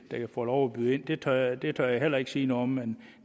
får lov at byde ind det tør det tør jeg heller ikke sige noget om men